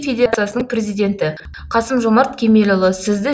федерациясының президенті қасым жомарт кемелұлы сізді